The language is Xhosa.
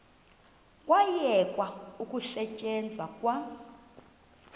kwayekwa ukusetyenzwa kwa